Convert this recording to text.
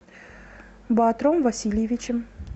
баатром васильевичем